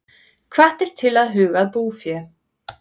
Hvattir til að huga að búfé